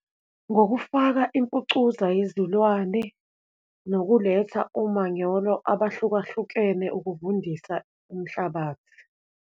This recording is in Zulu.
Ngokufaka imfucuza yezilwane, nokuletha umanyolo abahlukahlukene ukuvundisa inhlabathi.